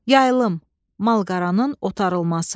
Yayılım, malqaranın otarılması.